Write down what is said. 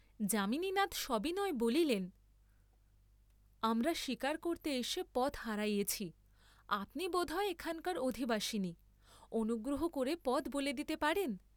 যামিনীনাথ সবিনয়ে বলিলেন, আমরা শীকার করতে এসে পথ হারিয়েছি, আপনি বোধহয় এখানকার অধিবাসিনী, অনুগ্রহ করে পথ বলে দিতে পারেন?